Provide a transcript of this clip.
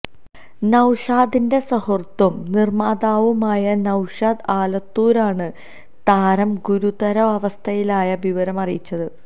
നൌഷാദിന്റെ സുഹൃത്തും നിര്മ്മാതാവുമായ നൌഷാദ് ആലത്തൂരാണ് താരം ഗുരുതരാവസ്ഥയിലായ വിവരം അറിയിച്ചത്